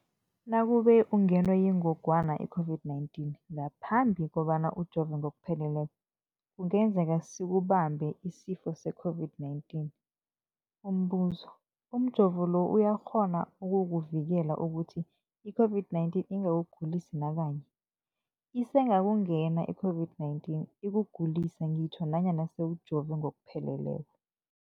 Nakube ungenwe yingogwana i-COVID-19 ngaphambi kobana ujove ngokupheleleko, kungenzeka sikubambe isifo se-COVID-19. Umbuzo, umjovo lo uyakghona ukukuvikela ukuthi i-COVID-19 ingakugulisi nakanye? Isengakungena i-COVID-19 ikugulise ngitjho nanyana sewujove ngokupheleleko.